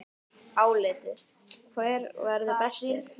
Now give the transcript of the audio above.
Álitið: Hver verður bestur?